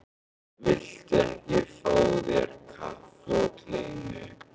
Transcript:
Viltu ekki fá þér kaffi og kleinu?